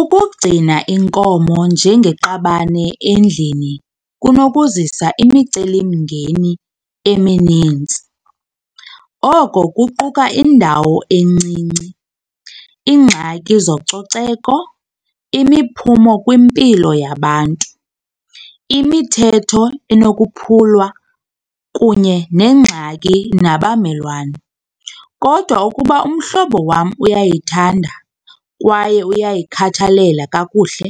Ukugcina inkomo njengeqabane endlini kunokuzisa imicelimngeni eminintsi. Oko kuquka indawo encinci, ingxaki zococeko, imiphumo kwimpilo yabantu, imithetho enokuphulwa kunye nengxaki nabamelwane. Kodwa ukuba umhlobo wam uyayithanda kwaye uyayikhathalela kakuhle